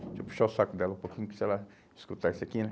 Deixa eu puxar o saco dela um pouquinho, que se ela escutar isso aqui, né?